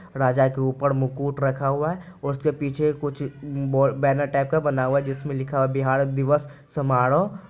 राजा के ऊपर मुकुट रखा हुआ है और उसके पीछे कुछ बो बैनर टाइप का बना हुआ है जिसमें लिखा है बिहार दिवस समारोह।